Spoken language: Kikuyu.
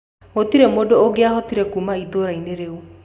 Gũtirĩ mũndũ ũngĩahotire kuuma itũũra-inĩ rĩu.